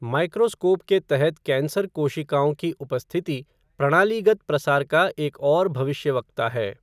Microscope के तहत cancer कोशिकाओं की उपस्थिति प्रणालीगत प्रसार का एक और भविष्यवक्ता है।